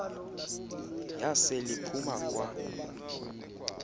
yasel iphuma kwa